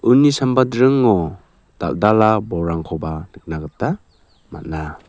uni samba dringo dal·dala bolrangkoba nikna gita man·a.